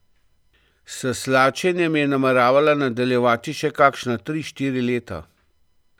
S slačenjem je nameravala nadaljevati še kakšna tri, štiri leta.